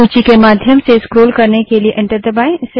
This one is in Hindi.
सूची के माध्यम से स्क्रोल करने के लिए एंटर दबायें